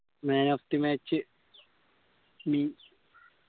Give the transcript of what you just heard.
man of the match me